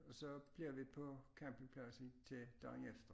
Og så bliver vi på campingpladsen til dagen efter